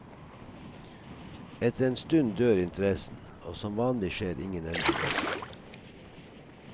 Etter en stund dør interessen, og som vanlig skjer ingen endringer.